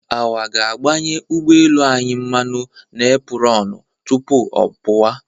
Our ga-agbanye ụgbọelu anyị mmanụ n'epurọnụ tupu ọ pụwa.